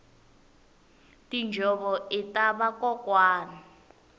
tinjhovo ita vakokwani